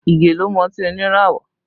Ige ló mú ọtí oníràwọ̀